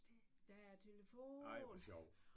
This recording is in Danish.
Der er telefon!